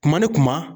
Kuma ni kuma